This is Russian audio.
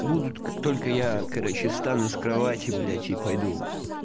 будут как только я короче встану с кровати блять и пойду